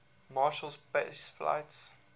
marshall space flight